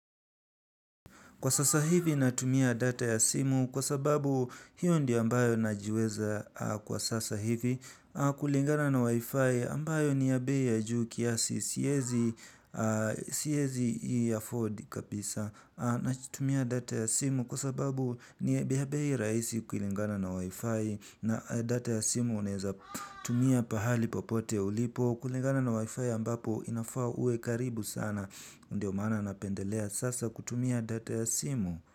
Kwa sasa hivi natumia data ya simu kwa sababu hiyo ndio ambayo najiweza kwa sasa hivi kulingana na wifi ambayo ni ya bei ya juu kiasi siezi iafford kabisa natumia data ya simu kwa sababu ni ya bei rahisi kulingana na wifi na data ya simu unaeza tumia pahali popote ulipo. Kwa kulingana na wifi ambapo inafaa uwe karibu sana ndio maana napendelea sasa kutumia data ya simu.